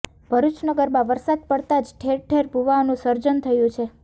ભરૃચ નગરમાં વરસાદ પડતા જ ઠેર ઠેર ભૂવાઓનું સર્જન થયુ છે